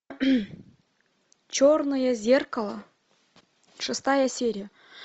черное зеркало шестая серия